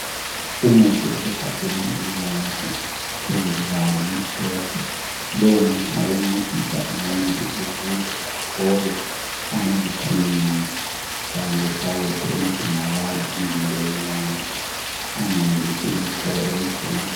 Umuthi osegabheni elibomvu phezukwalo limhlophe. Lowumuthi ngowokuncedisa umuntu ukuze athole amavithamini kanye lesawudo elidingakala emzimbeni wakhe angenelisi ukulithola ekudleni.